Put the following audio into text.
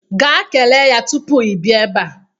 Gaa kelee ya tupu ị bịa ebe a.